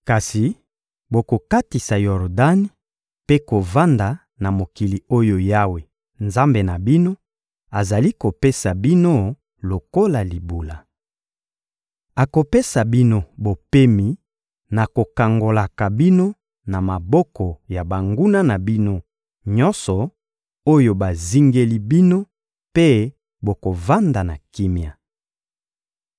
Kasi bokokatisa Yordani mpe bokovanda na mokili oyo Yawe, Nzambe na bino, azali kopesa bino lokola libula. Akopesa bino bopemi na kokangolaka bino na maboko ya banguna na bino nyonso oyo bazingeli bino, mpe bokovanda na kimia.